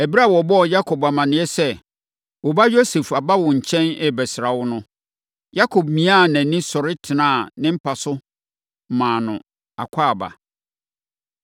Ɛberɛ a wɔbɔɔ Yakob amaneɛ sɛ, “Wo ba Yosef aba wo nkyɛn rebɛsra wo” no, Yakob miaa nʼani sɔre tenaa ne mpa so maa no akwaaba.